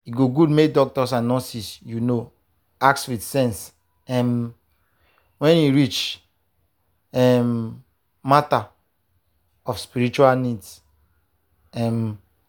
e good make doctors and nurses you know ask with sense um when e reach um matter of spiritual needs. um